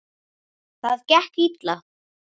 Það gekk illa.